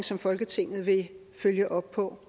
som folketinget vil følge op på